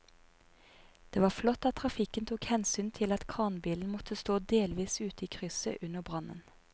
Det var flott at trafikken tok hensyn til at kranbilen måtte stå delvis ute i krysset under brannen.